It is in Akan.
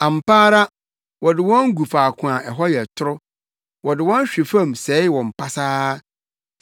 Ampa ara wode wɔn gu faako a hɔ yɛ toro wode wɔn hwe fam sɛe wɔn pasaa.